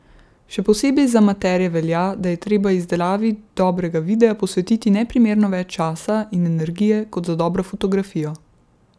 Še posebej za amaterje velja, da je treba izdelavi dobrega videa posvetiti neprimerno več časa in energije kot za dobro fotografijo.